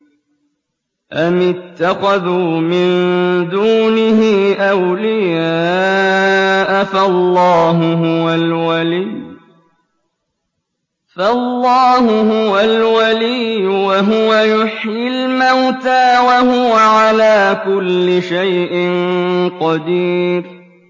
أَمِ اتَّخَذُوا مِن دُونِهِ أَوْلِيَاءَ ۖ فَاللَّهُ هُوَ الْوَلِيُّ وَهُوَ يُحْيِي الْمَوْتَىٰ وَهُوَ عَلَىٰ كُلِّ شَيْءٍ قَدِيرٌ